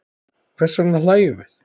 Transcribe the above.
Hvers vegna hlæjum við?